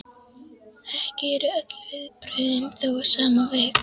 Ekki eru öll viðbrögðin þó á sama veg.